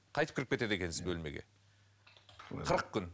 қайтып кіріп кетеді екенсіз бөлмеге қырық күн